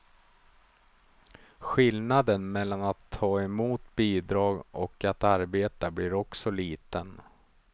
Skillnaden mellan att ta emot bidrag och att arbeta blir också liten.